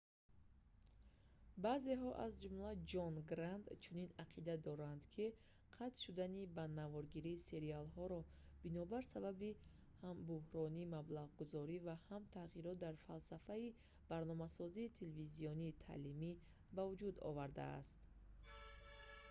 баъзеҳо аз ҷумла ҷон грант чунин ақида доранд ки қатъ шудани ба наворгирии сериолҳоро бинобир сабаби ҳам бӯҳрони маблағгузорӣ ва ҳам тағйирот дар фалсафаи барномасозии телевизионии таълимӣ ба вуҷуд овардааст